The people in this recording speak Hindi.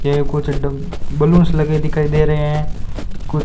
ये कुछ ड बलूंस लगे दिखाई दे रहे हैं कुछ--